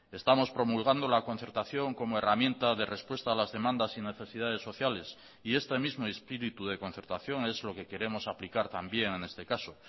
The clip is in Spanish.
estamos promulgando la concertación como herramienta de respuesta a las demandas y necesidades sociales y este mismo espíritu de concertación es lo que queremos aplicar también en este caso